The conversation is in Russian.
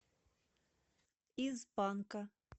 из панка